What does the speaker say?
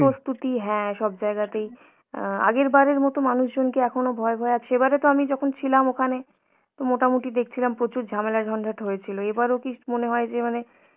প্রস্তুতি হ্যাঁ সব জায়গাতেই, অ্যাঁ আগেরবারের মতো মানুষজন কি এখনো ভয় ভয়ে আছে, সেবারে তো আমি যখন ছিলাম ওখানে তো মোটামুটি দেখছিলাম প্রচুর ঝামেলা ঝঞ্ঝাট হয়েছিল এবারও কি মনে হয় যে মানে